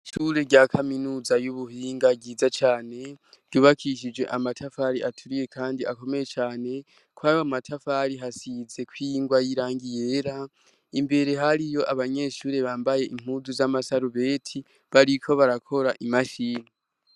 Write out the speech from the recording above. Ishure rya kaminuza y'ubuhinga ryiza cane ryubakishije amatafari aturiye, kandi akomeye cane ko ayo amatafari hasize koingwa y'irangiye era imbere hari iyo abanyeshure bambaye inkudu z'amasarubeti bariko barakora imashini.